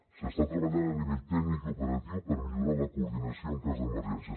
s’està treballant a nivell tècnic i operatiu per millorar la coordinació en cas d’emergència